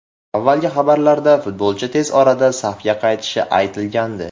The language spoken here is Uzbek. Avvalgi xabarlarda futbolchi tez orada safga qaytishi aytilgandi.